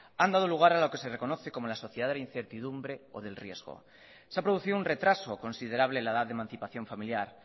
han dado lugar a lo que se reconoce como la sociedad de la incertidumbre o del riesgo se ha producido un retraso considerable en la edad de mancipación familiar